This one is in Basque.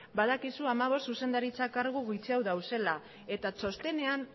badakizu dagoeneko hamabost zuzendaritza kargu gutxiago dauzela